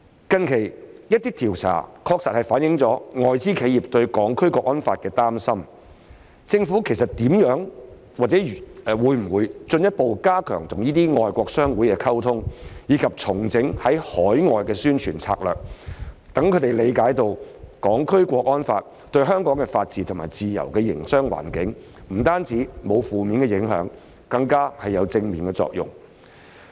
近期，一些調查確實反映外資企業對《香港國安法》的擔心，政府會否進一步加強與外國商會溝通，以及重整海外宣傳策略，讓他們理解《香港國安法》對香港的法治、自由的營商環境不單沒有負面影響，更有正面作用？